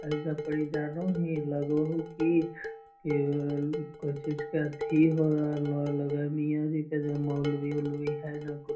एजा पड़ी जानही लग हउ की कक्क कोई चीज का अथी हो रहल है लगा हो मिया जी के मौलवी अल्वी है न कुछ --